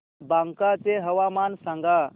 बांका चे हवामान सांगा